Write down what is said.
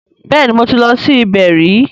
Bẹ́ẹ̀ni mo ti lọ sí ibẹ̀ rí